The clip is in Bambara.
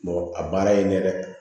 a baara ye ɲɛ dɛ